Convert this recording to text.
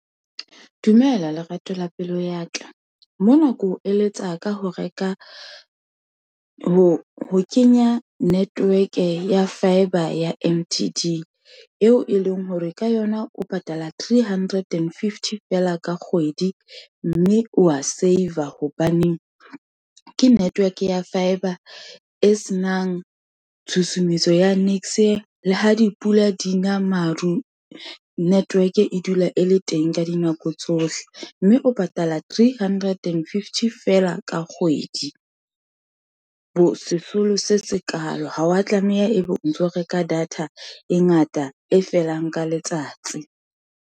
Dumela lerato la pelo ya ka, mona ke o eletsa ka ho reka ho kenya network ya fibre ya M_T_D, eo e leng hore ka yona o patala three hundred and fifty fela ka kgwedi, mme wa saver hobaneng ke network ya fibre, e senang tshusumetso ya niks. Le ha dipula di na maru , network e dula e le teng ka dinako tsohle, mme o patala three hundred and fifty fela ka kgwedi, bo sesolo se sekaalo. Ha wa tlameha ebe o ntso reka data, e ngata, e felang ka letsatsi.